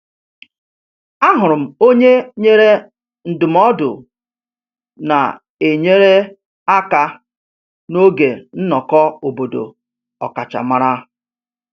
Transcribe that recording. Ahụrụ m onye nyere ndụmọdụ na-enyere aka n'oge nnọkọ obodo ọkachamara